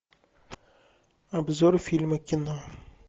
обзор фильма кино